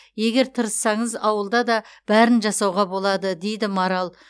егер тырыссаңыз ауылда да бәрін жасауға болады дейді марал